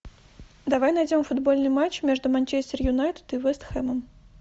давай найдем футбольный матч между манчестер юнайтед и вест хэмом